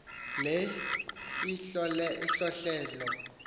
le ihlohle lo